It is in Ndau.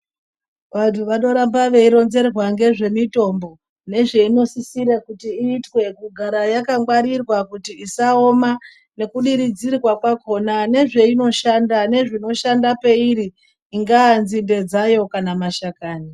Vantu vanoramba veironzerwa ngezvemitombo nezveinosisira kuti iitwe kugara yakangwarirwa kuti isaoma nekudiridzirwa kwakona nezveinoshanda nezvinoshanda peiri ingaa nzinde dzayo kana mashakani.